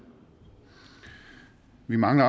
vi mangler